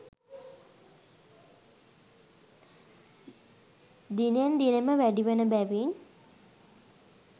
දිනෙන් දිනම වැඩිවන බැවින්